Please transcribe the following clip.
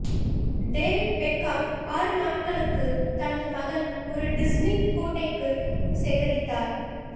David Beckham ஆறு நாட்களுக்கு தனது மகள் ஒரு டிஸ்னி கோட்டைக்கு சேகரித்தார்